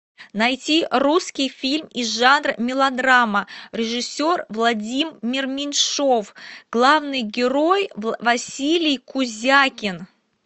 найти русский фильм из жанра мелодрама режиссер владимир меньшов главный герой василий кузякин